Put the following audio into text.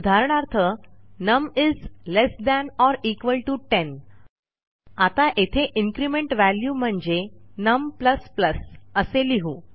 उदाहरणार्थ नम ल्ट 10 आता येथे इन्क्रिमेंट valueम्हणजे नम असे लिहू